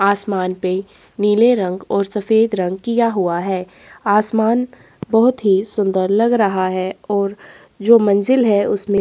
आसमान पे नीले रंग और सफेद रंग किया हुआ है आसमान बहुत ही सुंदर लग रहा है और जो मंजिल है उसमें--